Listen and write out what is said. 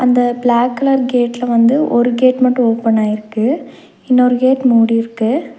இந்த black colour கேட்ல வந்து ஒரு கேட் மட்டு ஓபனாயிருக்கு இன்னொரு கேட் மூடிருக்கு.